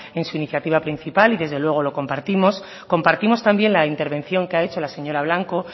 en su iniciativa principal y desde luego lo compartimos compartimos también la intervención que ha hecho la señora blanco